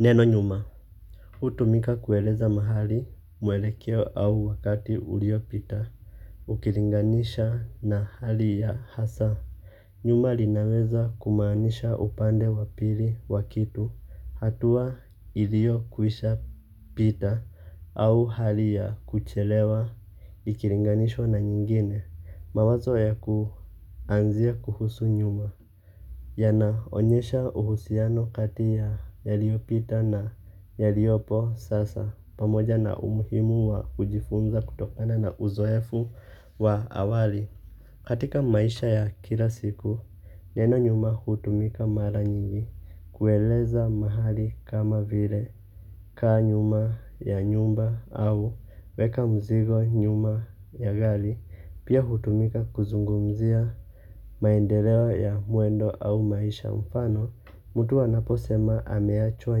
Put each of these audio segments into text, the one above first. Neno nyuma hutumika kueleza mahali mwelekeo au wakati uliopita. Ukilinganisha na hali ya hasa nyuma linaweza kumaanisha upande wa pili wa kitu hatua ilio kwisha pita au hali ya kuchelewa. Ikilinganishwa na nyingine mawazo ya kuanzia kuhusu nyuma yana onyesha uhusiano kati ya yaliopita na yaliopo sasa pamoja na umuhimu wa kujifunza kutokana na uzoefu wa awali. Katika maisha ya kila siku neno nyuma hutumika mara nyingi kueleza mahali kama vile kaa nyuma ya nyumba au weka mzigo nyuma ya gari pia hutumika kuzungumzia maendeleo ya mwendo au maisha mfano, mtu anaposema ameachwa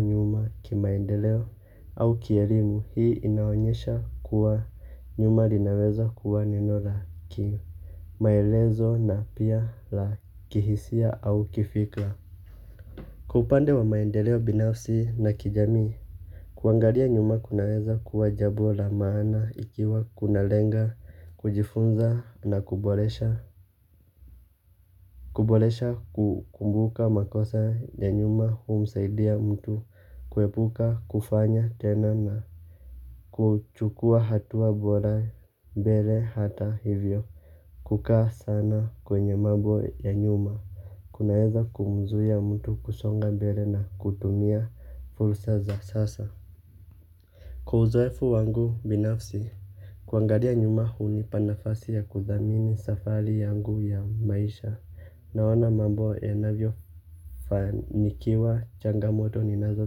nyuma kimaendeleo au kielimu hii inaonyesha kuwa nyuma linaweza kuwa neno la kimaelezo na pia la kihisia au kifikra. Kwa upande wa maendeleo binafsi na kijami kuangalia nyuma kunaweza kuwa jambo la maana ikiwa kuna lenga kujifunza na kuboresha. Kuboresha kukumbuka makosa ya nyuma humsaidia mtu kuepuka kufanya tena na kuchukua hatua bora mbele hata hivyo. Kukaa sana kwenye mambo ya nyuma kunaweza kumzuia mtu kusonga mbele na kutumia fursa za sasa. Kwa uzoefu wangu binafsi, kuangalia nyuma hunipa nafasi ya kuthamini safari yangu ya maisha, naona mambo yanavyo fanikiwa changamoto ninazo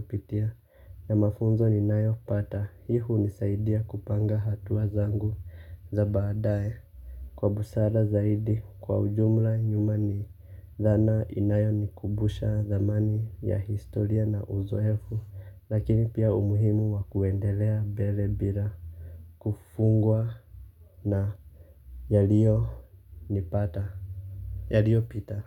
pitia, ya mafunzo ninayo pata, hii hunisaidia kupanga hatua zangu za baadae. Kwa busara zaidi kwa ujumla nyuma ni dhana inayonikumbusha thamani ya historia na uzoefu lakini pia umuhimu wa kuendelea mbele bila kufungwa na Yaliyonipata Yaliyopita.